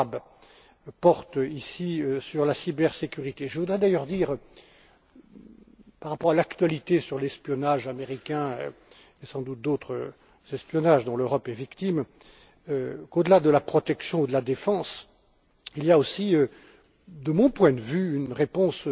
Schwab porte ici sur la cybersécurité. Je voudrais d'ailleurs dire, par rapport à l'actualité concernant l'espionnage américain, et sans doute à d'autres espionnages dont l'Europe est victime, qu'au delà de la protection ou de la défense, il y a aussi, de mon point de vue, une réponse